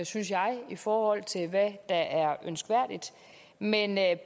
synes jeg i forhold til hvad der er ønskværdigt men